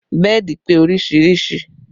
Bẹ́ẹ̀dì pé oríṣiríṣi